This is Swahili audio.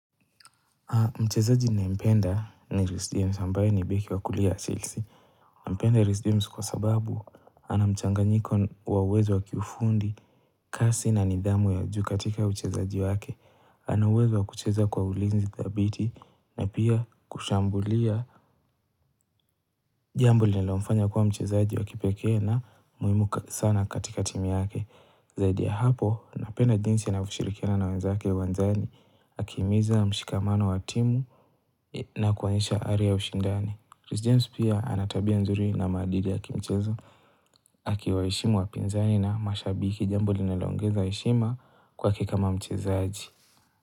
Mchezaji ninayempenda ni Reece James ambaye ni beki wa kulia wa Chelsea. Ninampenda Reece James kwa sababu ana mchanganyiko wa uwezo wa kifundi. Kasi na nidhamu ya juu katika uchezaji wake. Ana uwezo wa kucheza kwa ulinzi dhabiti. Na pia kushambulia jambo linilomfanya kuwa mchezaji wa kipekee na muhimu sana katika timu yake. Zaidi ya hapo, napenda jinsi anavyoshirikiana na wenzake uwanjani. Akihimiza mshikamano wa timu. Na kuonyesha ari ya ushindani. Reece James pia ana tabia nzuri na maadili ya kimchezo. Akiwaheshimu wapinzani na mashabiki. Jambo linaloongeza heshima kwake kama mchezaji.